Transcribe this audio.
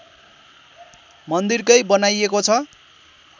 मन्दिरकै बनाइएको छ